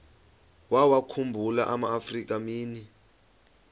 wawakhumbul amaafrika mini